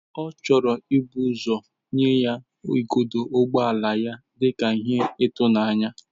Ọ chọrọ ibu ụzọ nye ya igodo ụgbọ ala dị ka ihe ijuanya.